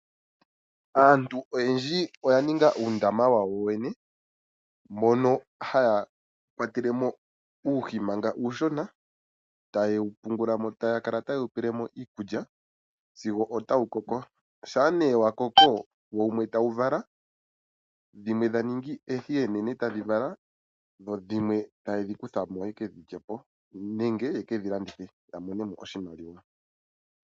Aantu oyendji oya ninga uundama wawo yene mono haya kwatelemo uuhi manga uushona. Ohaye wu pele mo iikulya sigo wa koko. Shampa nee wa koko wumwe tawu vala , dhimwe tadhi ningi oonene e ta ye dhi kutha mo ye ke dhi lye po nege ye ke dhi landithe po ya imonene mo oshimaliwa.